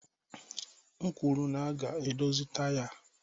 M kwuru na a ga-edozi taya a